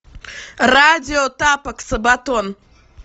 радио тапок сабатон